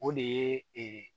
O de ye ee